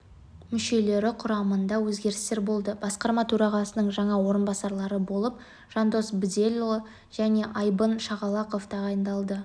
мүшелері құрамында өзгерістер болды басқарма төрағасының жаңа орынбасарлары болып жандос бделұлы жне айбын шағалақов тағайындалды